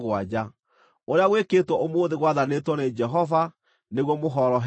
Ũrĩa gwĩkĩtwo ũmũthĩ, gwathanĩtwo nĩ Jehova nĩguo mũhoroherio.